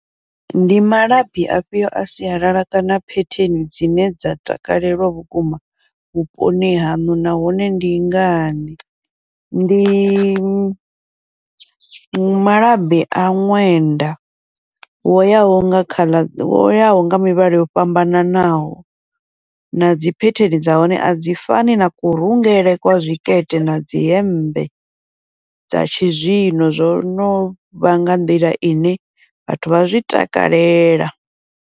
Ndi malabi afhio a sialala kana phetheni dzine dza takalelwa vhukuma vhuponi haṋu nahone ndi ngani, ndi malabi a ṅwenda wo yaho nga khaḽa wo yaho nga mivhala yo fhambananaho, na dzi phetheni dza hone a dzi fani na kurungele kwa zwikete nadzi hemmbe dza tshi zwino, zwo novha nga nḓila ine vhathu vha zwi takalela.